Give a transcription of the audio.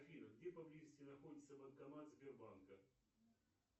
афина где поблизости находится банкомат сбербанка